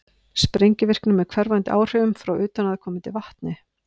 sprengivirkni með hverfandi áhrifum frá utanaðkomandi vatni